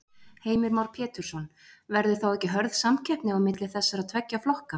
Heimir Már Pétursson: Verður þá ekki hörð samkeppni á milli þessara tveggja flokka?